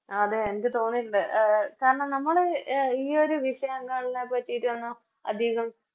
അതെ എനിക്ക് തോന്നിട്ടുണ്ട് അഹ് കാരണം നമ്മള് ഈയൊരു വിഷയം എന്നല്ലതിനെ പറ്റിറ്റൊന്നും അതികോം